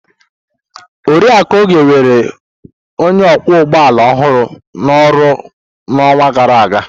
Oriakụ Oge were onye ọkwọ ụgbọala ọhụrụ na oru n'ọnwa gara aga.